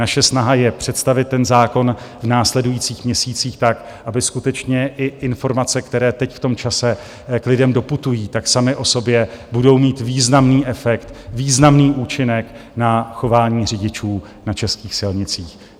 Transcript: Naše snaha je představit ten zákon v následujících měsících tak, aby skutečně i informace, které teď v tom čase k lidem doputují, tak samy o sobě budou mít významný efekt, významný účinek na chování řidičů na českých silnicích.